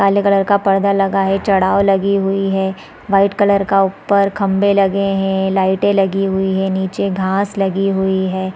काले कलर का पर्दा लगा है चढ़ाव लगी हुई है वाइट कलर का ऊपर खम्बे लगे है लाइटे लगी हुई है नीचे घास लगी हुई हैं |